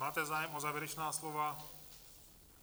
Máte zájem o závěrečná slova?